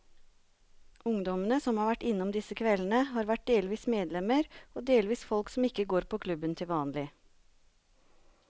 Ungdommene som har vært innom disse kveldene, har vært delvis medlemmer og delvis folk som ikke går på klubben til vanlig.